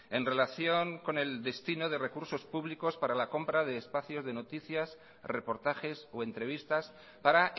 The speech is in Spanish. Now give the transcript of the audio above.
en relación con el destino de recursos públicos para la compra de espacios de noticias reportajes o entrevistas para